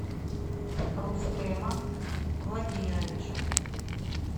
рустема владимировича